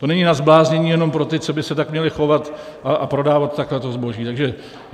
To není na zbláznění jenom pro ty, co by se tak měli chovat a prodávat tak to zboží.